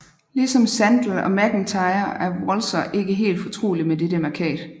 Ligesom Sandel og MacIntyre er Walzer ikke helt fortrolig med dette mærkat